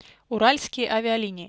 уральские авиалинии